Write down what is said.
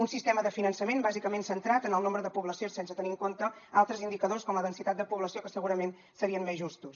un sistema de finançament bàsicament centrat en el nombre de població sense tenir en compte altres indicadors com la densitat de població que segurament serien més justos